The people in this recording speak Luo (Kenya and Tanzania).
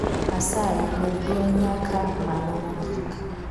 Asayi med dwol nyaka malo mogik